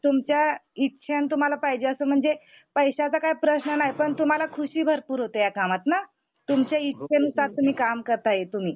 तुमच्या इच्छेनं तुम्हाला पाहिजे असं म्हणजे पैशाचा काय प्रश्न नाय पण तुम्हाला ख़ुशी भरपूर होते या कामतंन, तुमच्या इच्छेनुसार तुम्ही काम करताय तुम्ही.